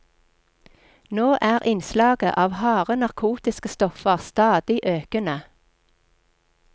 Nå er innslaget av harde narkotiske stoffer stadig økende.